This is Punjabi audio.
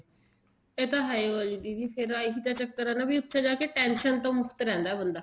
ਇਹ ਤਾਂ ਹੈ ਓ ਆ ਦੀਦੀ ਇਹੀ ਤਾਂ ਚੱਕਰ ਆ ਨਾ ਵੀ ਉੱਥੇ ਜਾਕੇ tension ਦਾ ਮੁਕਤ ਰਹਿੰਦਾ ਬੰਦਾ